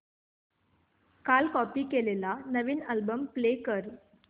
काल कॉपी केलेला नवीन अल्बम प्ले कर